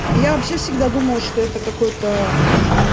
я вообще всегда думала что это какой-то